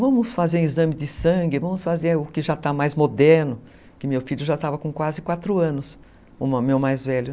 Vamos fazer um exame de sangue, vamos fazer o que já está mais moderno, que meu filho já estava com quase quatro anos, o meu mais velho.